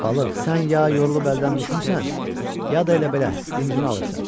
Balıq, sən ya yorulub əldən düşmüsən, ya da elə belə dincini alırsan.